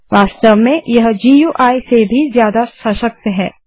वास्तव में यह गुई से भी ज्यादा सशक्त है